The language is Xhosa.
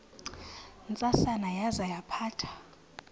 ntsasana yaza yaphatha